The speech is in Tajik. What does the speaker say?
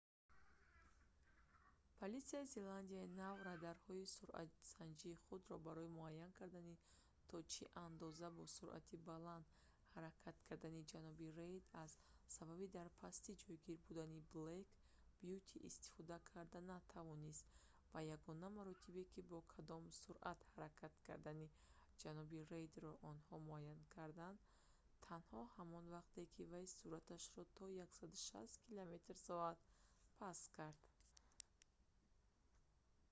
политсияи зеландияи нав радарҳои суръатсанҷи худро барои муайян кардани то чи андози бо суръати баланд ҳаракат кардани ҷаноби рейд аз сабаби дар пастӣ ҷойгир будани блэк бюти истифода карда натавонист ва ягона маротибае ки бо кадом суръат ҳаракат кардани ҷаноби рейдро онҳо муайян карданд танҳо ҳамон вақте ки вай суръаташро то 160 км / с паст кард